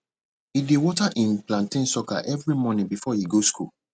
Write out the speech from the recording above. e dey water im plantain sucker every morning before e go school